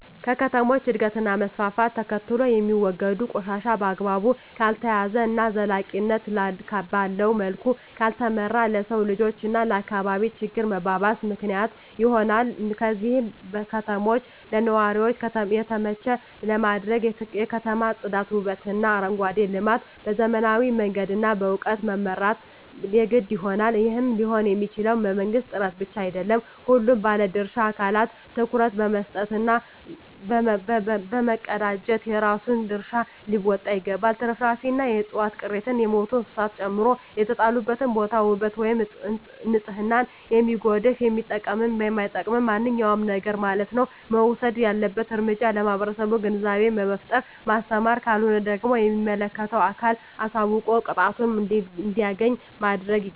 ከከተሞች እድገት እና መስፍፍት ተከትሎየሚወገዱ ቆሻሻ በአግባቡ ካልተያዘ እና ዘላቂነት ባለዉ መልኩ ካልተመራ ለሰዉ ልጅ እና ለአካባቢ ችግር መባባስ ምክንያት ይሆናል ስለዚህ ከተማችን ለነዋሪዎች የተመቸ ለማድረግ የከተማ ፅዳት ዉበትእና አረንጓዴ ልማት በዘመናዊ መንገድ እና በእዉቀት መምራት የግድ ይሆናል ይህም ሊሆንየሚችለዉ በመንግስት ጥረት ብቻ አይደለም ሁሉም ባለድርሻ አካላት ትኩረት በመስጠት እና በመቀናጀት የራሱን ድርሻ ሊወጣ ይገባል ትርፍራፊንእና የዕፅዋት ቅሪትን የሞቱ እንስሳትን ጨምሮ የተጣለበትን ቦታ ዉበት ወይም ንፅህናን የሚያጎድፍ የሚጠቅምም የማይጠቅምም ማንኛዉም ነገርማለት ነዉ እና መወሰድ ያለበት እርምጃ ለህብረተሰቡ ግንዛቤ በመፍጠር ማስተማር ካልሆነ ደግሞ ለሚመለከተዉ አካል አሳዉቆ ቅጣቱን እንዲያገኝ ማድረግይገባል